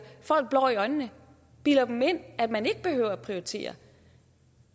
folk blår i øjnene bilder dem ind at man ikke behøver at prioritere